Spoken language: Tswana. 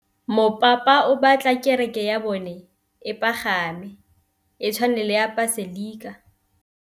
Mopapa o batla kereke ya bone e pagame, e tshwane le paselika.